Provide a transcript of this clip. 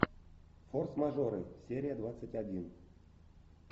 форс мажоры серия двадцать один